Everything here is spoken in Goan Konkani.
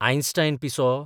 आयन्स्टायन पिसो?